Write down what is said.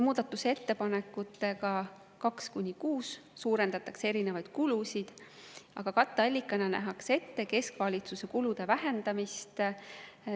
Muudatusettepanekutega nr 2–6 suurendati erinevaid kulusid, aga katteallikana nähti ette keskvalitsuse kulude vähendamine.